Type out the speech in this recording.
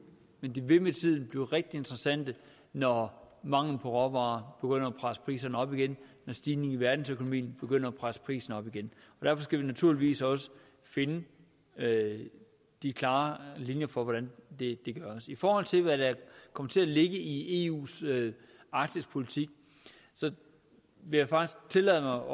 men det vil med tiden blive rigtig interessant når manglen på råvarer begynder at presse priserne op igen når stigningen i verdensøkonomien begynder at presse priserne op igen derfor skal vi naturligvis også finde de klare linjer for hvordan det gøres i forhold til hvad der kommer til at ligge i eus arktispolitik vil jeg faktisk tillade